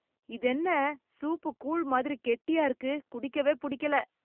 இதென்ன, சூப்பு கூழ் மாதிரி கெட்டியா இருக்கு... குடிக்கவே பிடிக்கலே